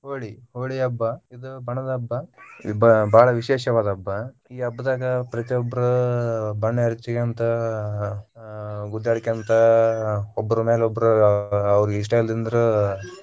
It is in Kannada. ಹೋಳಿ ಹೋಳಿ ಹಬ್ಬ ಇದು ಬಣ್ಣದ ಹಬ್ಬ ಬಾಳ ವಿಶೇಷವಾದ ಹಬ್ಬಾ. ಈ ಹಬ್ಬದಾಗ ಪ್ರತಿಯೊಬ್ಬರ ಬಣ್ಣ ಎರಚಿಗೊಂತ ಅಹ ಅಹ್ ಗುದ್ದಾಡಿಕೊಂತ ಅಹ್ ಒಬ್ಬರಮ್ಯಾಲ ಒಬ್ಬರ ಅಹ್ ಅವ್ರಿಗೆ ಇಷ್ಟಾ ಇಲ್ಲಾಂದ್ರೂ.